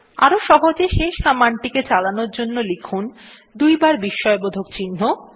আরো সহজে শেষ কমান্ডটিকে চালানোর জন্য লিখুন দুইবার বিস্ময়বোধক চিহ্ন